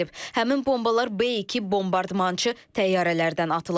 Həmin bombalar B-2 bombardmançı təyyarələrdən atılıb.